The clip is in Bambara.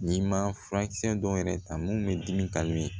N'i ma furakisɛ dɔw yɛrɛ ta mun bɛ dimi